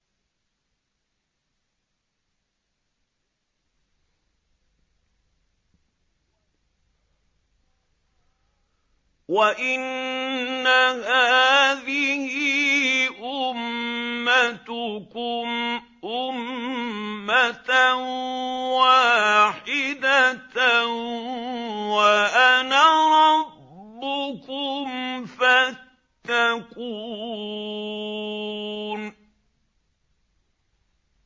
وَإِنَّ هَٰذِهِ أُمَّتُكُمْ أُمَّةً وَاحِدَةً وَأَنَا رَبُّكُمْ فَاتَّقُونِ